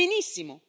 Benissimo!